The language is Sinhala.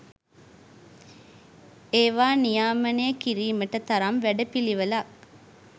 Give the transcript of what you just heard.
ඒවා නියාමනය කිරීමට තරම් වැඩපිළිවෙලක්